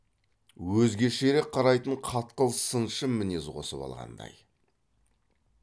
өзгешерек қарайтын қатқыл сыншы мінез қосып алғандай